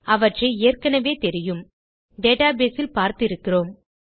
அவற்றை ஏற்கெனெவே தெரியும் டேட்டாபேஸ் இல் பார்த்து இருக்கிறோம்